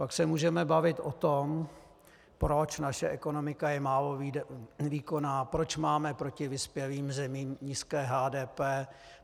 Pak se můžeme bavit o tom, proč naše ekonomika je málo výkonná, proč máme proti vyspělým zemím nízké HDP.